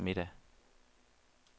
middag